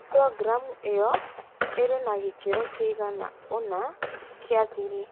Programu ĩyo ĩrĩ na gĩkĩro kĩigana ũna kĩa thiri.